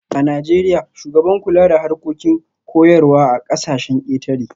A Najeriya, shugaban kula da harkokin koyarwa a kasashen ketare